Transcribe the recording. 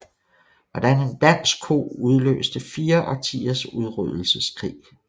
Hvordan en dansk ko udløste fire årtiers udryddelseskrig